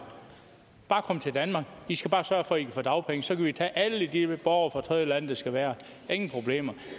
kom til danmark i skal bare sørge for at i kan få dagpenge så kan vi tage alle de borgere fra tredjelande det skal være ingen problemer